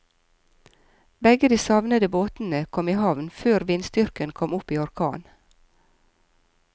Begge de savnede båtene kom i havn før vindstyrken kom opp i orkan.